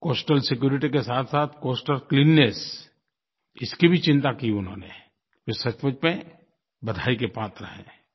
coastal security के साथसाथ coastal cleanness इसकी भी चिंता की उन्होंने ये सचमुच में बधाई के पात्र हैं